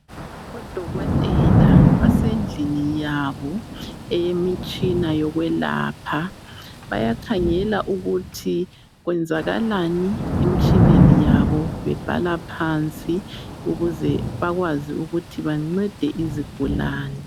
Odokotela basendlini yabo eyemitshina yokwelapha bayakhangela ukuthi kwenzakalani emitshineni yabo bebhala phansi ukuze bakwazi ukuthi bancede izigulane.